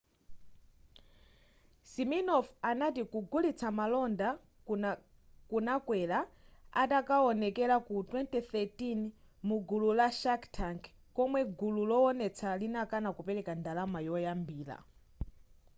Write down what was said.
siminoff anati kugulitsa malonda kunakwera atakawonekera ku 2013 mugulu la shark tank komwe gulu lowonetsa linakana kupereka ndalama yoyambira